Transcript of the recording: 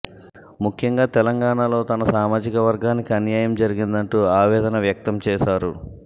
ముఖ్యంగా తెలంగాణలో తన సామాజిక వర్గానికి అన్యాయం జరిగిందంటూ ఆవేదన వ్యక్తం చేశారు